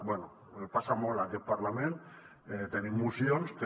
bé passa molt en aquest parlament tenim mocions que